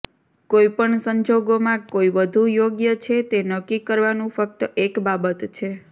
કોઈ પણ સંજોગોમાં કોઈ વધુ યોગ્ય છે તે નક્કી કરવાનું ફક્ત એક બાબત છે